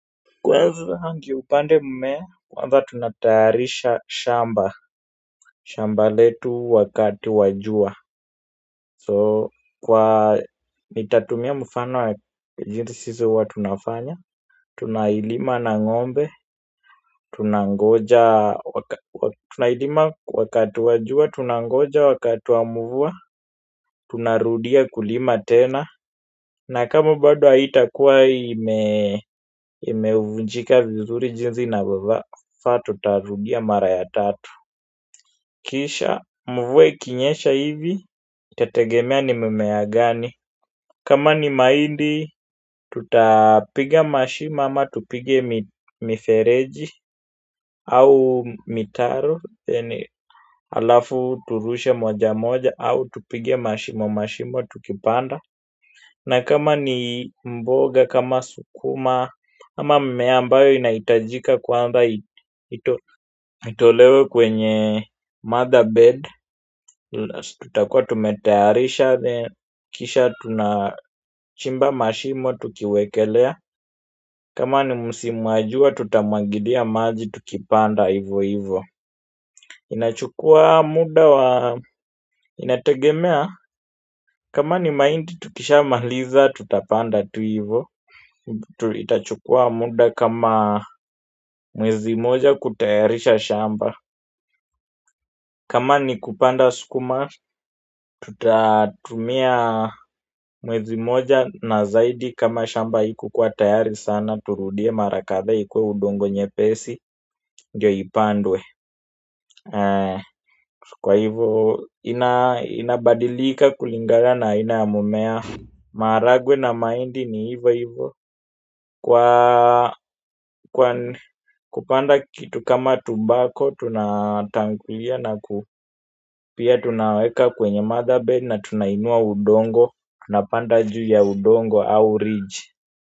Kwanza ndyo upande mmea, kwanza tunatayarisha shamba, shamba letu wakati wa jua. So, kwa nitatumia mfano wa jinsi sisi huwa tunafanya. Tunailima na ng'ombe, tunangoja wakati, tunailima wakati wa jua, tunangoja wakati wa mvua, tunarudia kulima tena na kama bado haitakuwa ime vunjika vizuri jinsi inavyofaa tutarudia mara ya tatu kisha mvua ikinyesha hivi itategemea ni mimea gani kama ni mahindi tutapiga mashimo ama tupige mifereji au mitaru ni halafu turushe moja moja au tupige mashimo mashimo tukipanda na kama ni mboga, kama sukuma, ama mmea ambayo inaitajika kwanza itolewe kwenye mother bed. Tutakua tumetayarisha, kisha tunachimba mashimo, tukiwekelea kama ni msimu wa jua, tutamwagilia maji, tukipanda, hivo hivo inachukua muda, inategemea, kama ni mahindi, tukisha maliza, tutapanda tu hivo. Itachukua muda kama mwezi moja kutayarisha shamba kama ni kupanda sukuma. Tutatumia mwezi moja na zaidi kama shamba ikukuwa tayari sana. Turudie mara kadhaa ikuwe udongo nyepesi ndiyo ipandwe kwa hivyo inabadilika kulingana na aina ya mmea. Marahagwe na mahindi ni hivo hivo kwa kupanda kitu kama tubako tunatangulia na pia tunaweka kwenye mother bed na tunainua udongo. Tunapanda juu ya udongo au ridge.